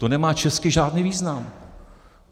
To nemá česky žádný význam.